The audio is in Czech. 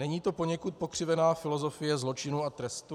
Není to poněkud pokřivená filozofie zločinu a trestu?